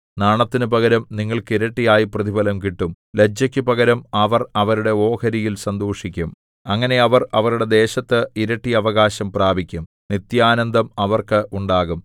നാണത്തിനു പകരം നിങ്ങൾക്ക് ഇരട്ടിയായി പ്രതിഫലം കിട്ടും ലജ്ജയ്ക്കു പകരം അവർ അവരുടെ ഓഹരിയിൽ സന്തോഷിക്കും അങ്ങനെ അവർ അവരുടെ ദേശത്ത് ഇരട്ടി അവകാശം പ്രാപിക്കും നിത്യാനന്ദം അവർക്ക് ഉണ്ടാകും